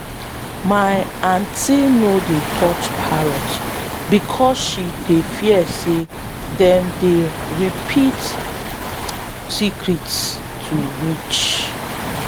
my aunty no dey touch parrots because she dey fear say them dey repeat secrets to witch.